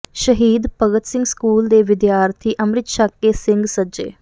ਸ਼ਹੀਦ ਭਗਤ ਸਿੰਘ ਸਕੂਲ ਦੇ ਵਿਦਿਆਰਥੀ ਅੰਮ੍ਰਿਤ ਛੱਕ ਕੇ ਸਿੰਘ ਸੱਜੇ